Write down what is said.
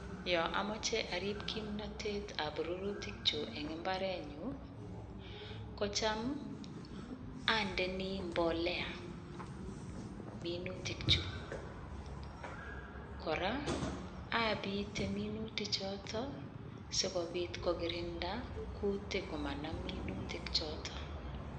Yo amache arip kimnatet ap rurutiik chuk eng' mbarenyun i, ko cham andeini mbolea minutikchuk. Kora, apite minutichotok i, si kopit kokirinda kutiik ko manam minutichotok.